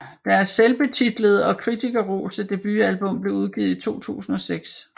Deres selvbetitlede og kritikerroste debutalbum blev udgivet i 2006